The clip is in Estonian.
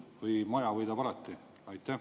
Või maja võidab alati?